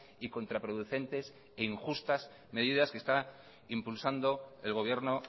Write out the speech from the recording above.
y contraproducentes e injustas medidas que está impulsando el gobierno